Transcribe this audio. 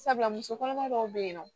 Sabula muso kɔnɔma dɔw be yen nɔ